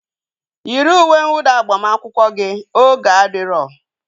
Yiri uwe nwụda agbamakwụkwọ gị! oge adiro